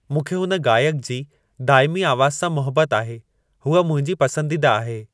मूंखे हुन गायक जी दाइमी आवाज़ सां मोहबत आहे हूअ मुंहिंजी पसंदीदा आहे